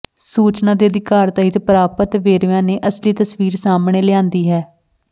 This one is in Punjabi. ਸੂਚਨਾ ਦੇ ਅਧਿਕਾਰ ਤਹਿਤ ਪ੍ਰਾਪਤ ਵੇਰਵਿਆਂ ਨੇ ਅਸਲੀ ਤਸਵੀਰ ਸਾਹਮਣੇ ਲਿਆਂਦੀ ਹੈ